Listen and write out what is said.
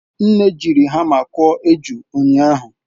Nne jiri hama kụọ eju ụnyahụ.